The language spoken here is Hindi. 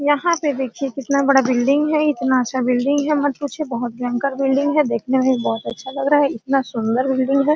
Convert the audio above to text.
यहां पे देखिए कितना बड़ा बिल्डिंग है इतना अच्छा बिल्डिंग है मत पूछिए बहुत भयंकर बिल्डिंग है देखने में ही बहुत अच्छा लग रहा है इतना सुंदर बिल्डिंग है।